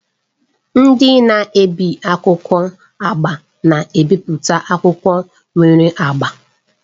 Ndị na-ebi akwụkwọ agba na-ebipụta akwụkwọ nwere agba.